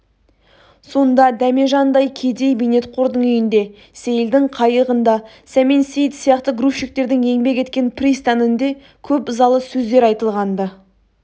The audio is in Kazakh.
сонда дәмежандай кедей бейнетқордың үйінде сейілдің қайығында сәмен сейіт сияқты грузчиктердің еңбек еткен пристанінде көп ызалы сөздер айтылған-ды